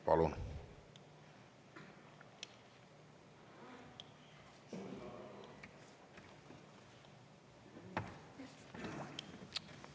Palun!